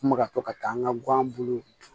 M bɛ ka to ka taa an ka gan buluw